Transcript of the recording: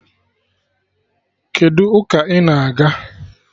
Kedụ ụka ị na-aga?